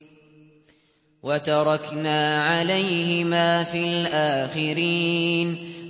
وَتَرَكْنَا عَلَيْهِمَا فِي الْآخِرِينَ